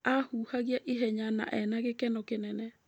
Aahũhagia ihenya na ena gĩkeno kĩnene.